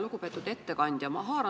Lugupeetud ettekandja!